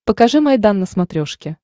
покажи майдан на смотрешке